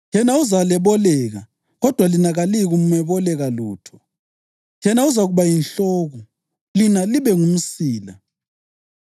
Yena uzaleboleka, kodwa lina kaliyikumeboleka lutho. Yena uzakuba yinhloko, lina libe ngumsila.